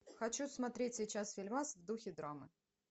хочу смотреть сейчас фильмас в духе драмы